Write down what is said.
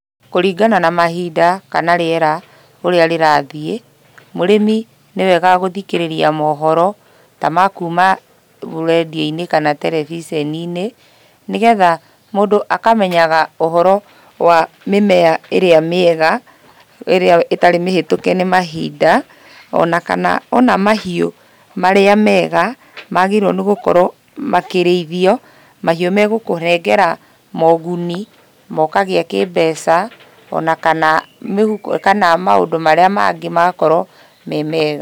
Kũringana na mahinda kana rĩera ũrĩa rĩrathiĩ, mũrĩmi nĩ wega gũthikĩrĩria mohoro ta ma kuma radio-inĩ kana terebiceni-inĩ, nĩgetha mũndũ akamenyaga ũhoro wa mĩmea ĩrĩa mĩega, ĩrĩa ĩtarĩ mĩhĩtũke nĩ mahinda, o na kana o na mahiũ marĩa mega magĩrĩirwo nĩ gũkorwo makĩrĩithio, mahiũ megũhengera moguni na ũkagĩa kĩ-mbeca, ona kana mĩhuko kana maũndũ marĩa mangĩ magakorwo me mega.